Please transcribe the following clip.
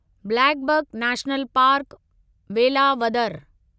blackbuck national park, Velavadar